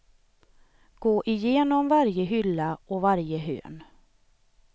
Gå igenom varje hylla och varje hörn.